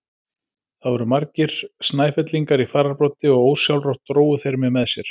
Þar voru margir Snæfellingar í fararbroddi og ósjálfrátt drógu þeir mig með sér.